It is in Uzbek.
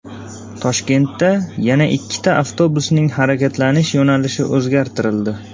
Toshkentda yana ikkita avtobusning harakatlanish yo‘nalishi o‘zgartirildi.